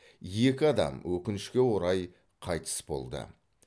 екі адам өкінішке орай қайтыс болды